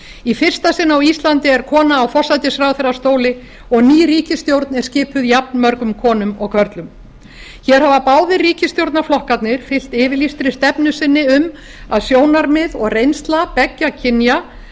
í fyrsta sinn á íslandi er kona í forsætisráðherrastól og ný ríkisstjórn er skipuð jafn mörgum konum og körlum hér hafa báðir ríkisstjórnarflokkarnir fylgt yfirlýstri stefnu sinni um að sjónarmið og reynsla beggja kynja